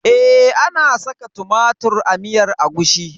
Eh ana saka tumatir a miyar agushi.